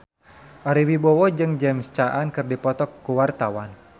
Ari Wibowo jeung James Caan keur dipoto ku wartawan